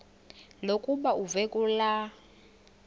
lokuba uve kulaa